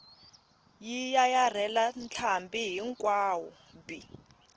yi yayarhela ntlhambi hinkwawo bi